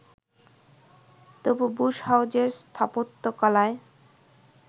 তবে বুশ হাউসের স্থাপত্যকলায়